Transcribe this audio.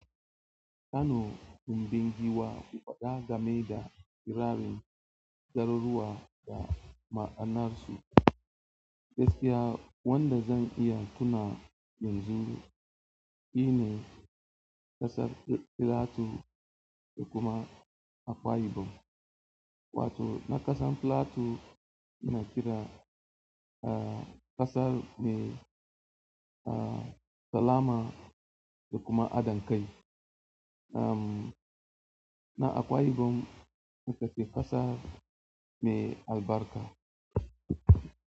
Kano tumbingiwa, ku faɗa game da kirarin, garuruwa da ma'anarsu. Gaskiya wanda zan iya tuna yanzu sune kasar platue da kuma akwa ibom wato kasar platue muna kira kasar mai salama da kuma adankai. Um, na Akwa ibom ita ce ƙasar mai albarka.